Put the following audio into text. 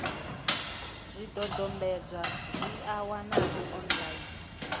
zwidodombedzwa zwi a wanalea online